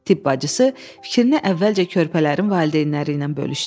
Tibb bacısı fikrini əvvəlcə körpələrin valideynləri ilə bölüşdü.